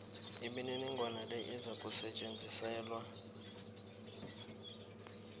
imininingwana le izakusetjenziselwa